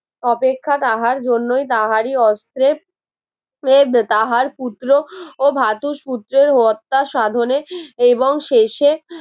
অপেক্ষা তাহার জন্যই তাহারি অস্ত্রের রইবে তাহার পুত্র ও ধাতুসূত্রের হত্যা সাধনে এবং শেষে